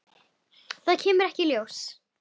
Það kemur ekkert ljós.